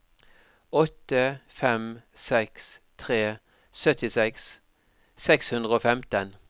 åtte fem seks tre syttiseks seks hundre og femten